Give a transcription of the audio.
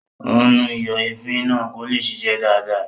Ó ún nu ìyọ̀èéfín náà kó lè ṣiṣẹ́ dáadáa